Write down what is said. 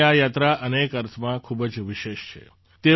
તેમની આ યાત્રા અનેક અર્થમાં ખૂબ જ વિશેષ છે